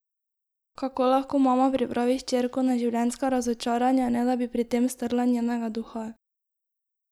Kako lahko mama pripravi hčerko na življenjska razočaranja, ne da bi pri tem strla njenega duha?